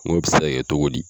Ngo bi se ka kɛ togo di?